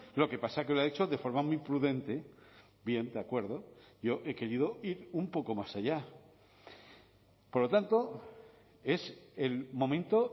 lo que pasa que lo ha hecho de forma muy prudente bien de acuerdo yo he querido ir un poco más allá por lo tanto es el momento